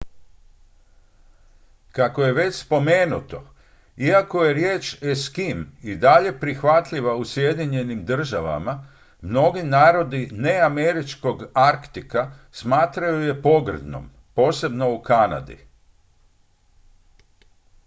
"kako je već spomenuto iako je riječ "eskim" i dalje prihvatljiva u sjedinjenim državama mnogi narodi neameričkog arktika smatraju je pogrdnom posebno u kanadi.